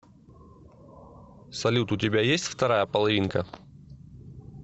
салют у тебя есть вторая половинка